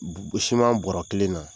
bɔrɔ kelen na